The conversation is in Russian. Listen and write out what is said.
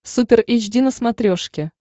супер эйч ди на смотрешке